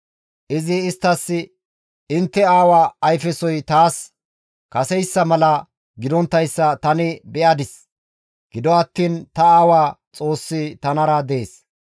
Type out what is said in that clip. Izi isttas, «Intte aawa ayfesoy taas kaseyssa mala gidonttayssa tani be7adis; gido attiin ta aawa Xoossi tanara dees.